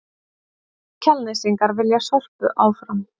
Kjalnesingar vilja Sorpu áfram